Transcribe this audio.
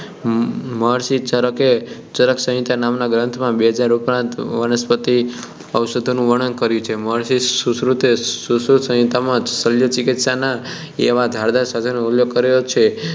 મહર્ષિ ચરકે ચરકસંહિતા નામના ગ્રંથમાં બે હજાર ઉપરાંત વનસ્પતિ ઔષધિઓનું વર્ણન કર્યું છે મહર્ષિ સુશ્રુતે સુશ્રુતસંહિતા માં શલ્યચિકિત્સા એવા ધારદાર સાધનોનો ઉલ્લેખ કર્યો છે